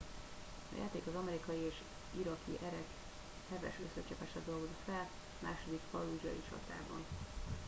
a játék az amerikai és iraki erek heves összecsapását dolgozza fel a második fallúdzsai csatában